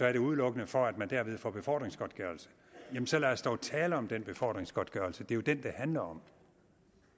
er det udelukkende for at man derved får befordringsgodtgørelse jamen så lad os dog tale om den befordringsgodtgørelse det er jo den det handler om